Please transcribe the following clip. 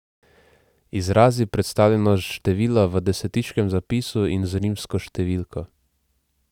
Izrazi predstavljeno število v desetiškem zapisu in z rimsko številko.